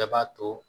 Bɛɛ b'a to